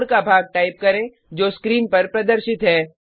code का भाग type करें जो स्क्रीन पर प्रदर्शित है